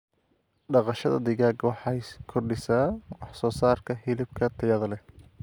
Dhaqashada digaaga waxay kordhisaa wax soo saarka hilibka tayada leh.